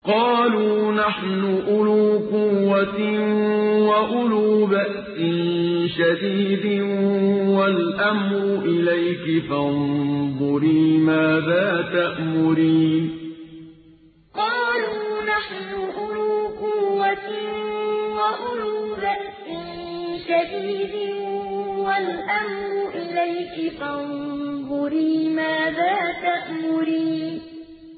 قَالُوا نَحْنُ أُولُو قُوَّةٍ وَأُولُو بَأْسٍ شَدِيدٍ وَالْأَمْرُ إِلَيْكِ فَانظُرِي مَاذَا تَأْمُرِينَ قَالُوا نَحْنُ أُولُو قُوَّةٍ وَأُولُو بَأْسٍ شَدِيدٍ وَالْأَمْرُ إِلَيْكِ فَانظُرِي مَاذَا تَأْمُرِينَ